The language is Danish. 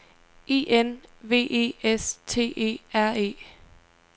I N V E S T E R E